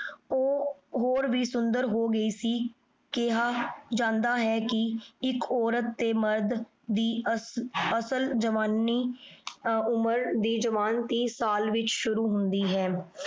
ਹਨ ਊ ਹੋਰੋ ਵੀ ਸੁੰਦਰ ਹੋਗੀ ਸੀ ਕੇਹਾ ਜਾਂਦਾ ਹੈ ਕੀ ਏਇਕ ਔਰਤ ਤੇ ਮਾਰਦ ਦੀ ਅਸਲ ਜਵਾਨੀ ਤਾਂ ਉਮਰ ਦੀ ਜਵਾਨ ਟੀ ਸਾਲ ਵਿਚ ਸ਼ੁਰੂ ਹੁੰਦੀ ਹੈ